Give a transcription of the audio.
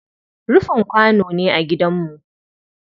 Rufin kwano ne a gidanmu.